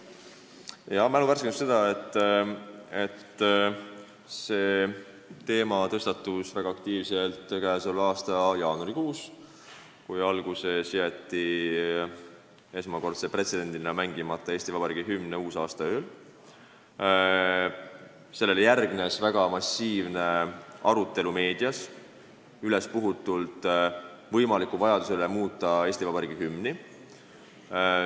Jaa, mälu värskenduseks ütlen, et see teema tõstatus väga aktiivselt käesoleva aasta jaanuarikuus, pärast seda, kui uusaastaööl jäeti pretsedendina mängimata Eesti Vabariigi hümn ning sellele järgnes väga massiivne ja ülespuhutud arutelu meedias vajaduse üle muuta Eesti Vabariigi hümni.